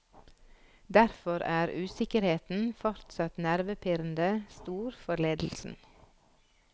Derfor er usikkerheten fortsatt nervepirrende stor for ledelsen.